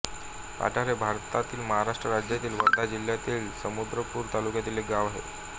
पठार हे भारतातील महाराष्ट्र राज्यातील वर्धा जिल्ह्यातील समुद्रपूर तालुक्यातील एक गाव आहे